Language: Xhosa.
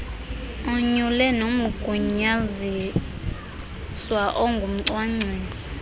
anyule nomgunyaziswa ongumcwangcisi